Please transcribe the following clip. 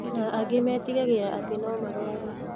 Na angĩ metigĩraga atĩ nomarũare